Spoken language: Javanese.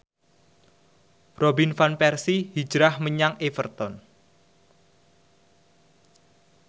Robin Van Persie hijrah menyang Everton